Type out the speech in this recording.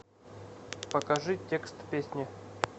покажи текст песни